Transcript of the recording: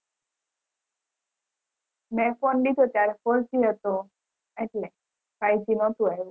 મેં phone લીધો ત્યારે four g હતો એટલે five g નતો આવ્યો